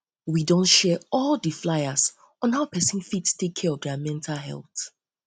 we don share all the fliers on how person go fit take care of their mental health